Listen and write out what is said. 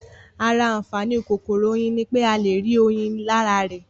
Ara àǹfàaní kòkòrò Oyin ní pé a le rí oyin lára rẹ̀